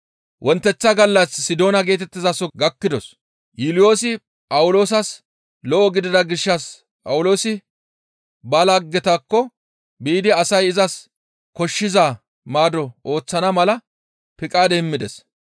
Wonteththa gallas Sidoona geetettizaso gakkidos; Yuuliyoosi Phawuloosas lo7o gidida gishshas Phawuloosi ba laggetakko biidi asay izas koshshiza maado ooththana mala piqaade immides.